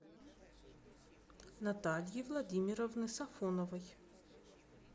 натальи владимировны сафоновой